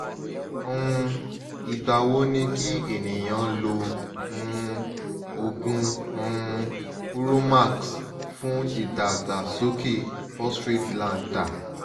um igba wo ni ki eniyan lo um ogun um uromax fun idagbasoke prostrate gland da